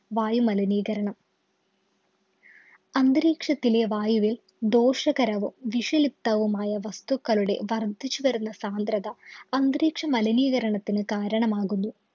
വായു മലിനീകരണം. അന്തരീക്ഷത്തിലെ വായുവില്‍ ദോഷകരവും, വിഷലിപ്തവുമായ വസ്തുക്കളുടെ വര്‍ധിച്ചു വരുന്ന സാന്ദ്രത അന്തരീക്ഷമലിനീകരണത്തിനു കാരണമാകുന്നു.